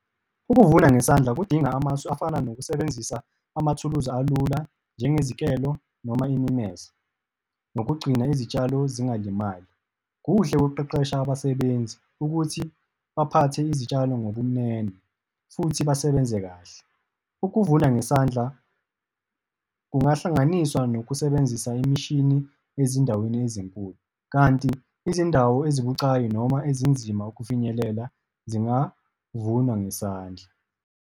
Ukuvuna ngesandla kudinga amasu afana nokusebenzisa amathuluzi alula, njengezikelo noma imemeze, nokugcina izitshalo zingalimali. Kuhle ukukuqeqesha abasebenzi ukuthi baphathe izitshalo ngobumnene futhi basebenze kahle. Ukuvuna ngesandla kungahlanganiswa nokusebenzisa imishini ezindaweni ezinkulu, kanti izindawo ezibucayi noma ezinzima ukufinyelela zingavunwa ngesandla.